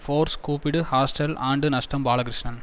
force கூப்பிடு hostel ஆண்டு நஷ்டம் பாலகிருஷ்ணன்